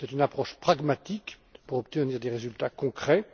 C'est une approche pragmatique pour obtenir des résultats concrets.